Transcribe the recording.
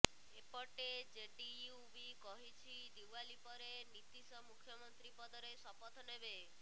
ଏପଟେ ଜେଡିୟୁ ବି କହିଛି ଦିୱାଲୀ ପରେ ନୀତୀଶ ମୁଖ୍ୟମନ୍ତ୍ରୀ ପଦରେ ଶପଥ ନେବେ